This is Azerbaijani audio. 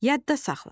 Yadda saxla.